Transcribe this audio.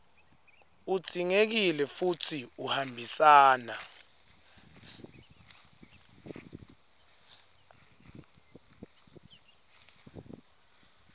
udzingekile futsi uhambisana